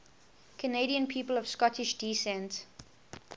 canadian people of scottish descent